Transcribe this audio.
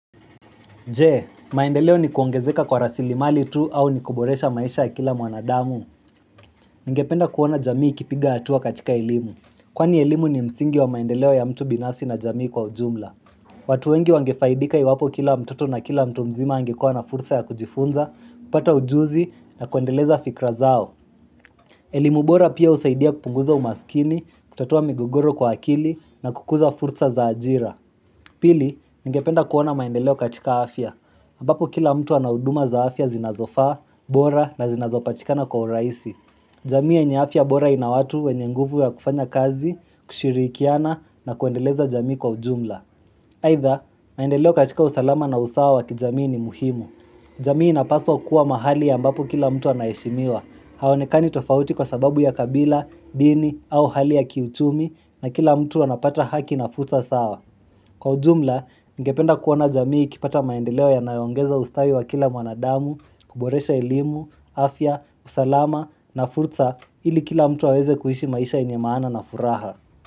Je, maendeleo ni kuongezeka kwa rasili mali tu au ni kuboresha maisha ya kila mwanadamu. Ningependa kuona jamii ikipiga atua katika elmu. Kwani elimu ni msingi wa maendeleo ya mtu binafsi na jamii kwa ujumla. Watu wengi wangefaidika iwapo kila mtoto na kila mtu mzima angekuwa na fursa ya kujifunza, kupata ujuzi na kuendeleza fikra zao. Elimu bora pia usaidia kupunguza umasikini, kutatua migogoro kwa akili na kukuza fursa za ajira. Pili, ningependa kuona maendeleo katika afya. Ambapo kila mtu anahuduma za afya zinazofaa, bora na zinazopatikana kwa urahisi. Jamii yenye afia bora inawatu wenye nguvu ya kufanya kazi, kushirikiana na kuendeleza jamii kwa ujumla. Haidha, maendeleo katika usalama na usawa wa kijamii ni muhimu. Jamii inapaswa kuwa mahali ambapo kila mtu anaheshimiwa. Hawaonekani tofauti kwa sababu ya kabila, dhini au hali ya kiuchumi na kila mtu anapata haki na fursa sawa. Kwa ujumla, ningependa kuona jamii kipata maendeleo ya nayoongeza ustawi wa kila mwanadamu, kuboresha elimu, afya, usalama na fursa ili kila mtu aweze kuishi maisha yenye maana na furaha.